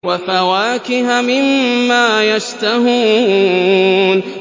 وَفَوَاكِهَ مِمَّا يَشْتَهُونَ